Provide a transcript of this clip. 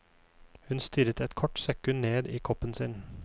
Hun stirret et kort sekund ned i koppen sin.